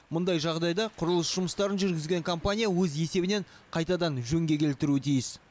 мұндай жағдайда құрылыс жұмыстарын жүргізген компания өз есебінен қайтадан жөнге келтіруі тиіс